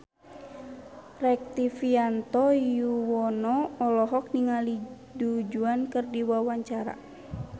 Rektivianto Yoewono olohok ningali Du Juan keur diwawancara